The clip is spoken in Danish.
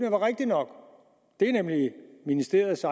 er rigtige nok det er nemlig ministeriets